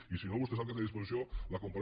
i si no vostè sap que té a disposició la compareix